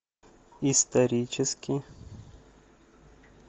исторический